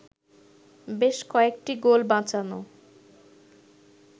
বেশ কয়েকটি গোল বাঁচানো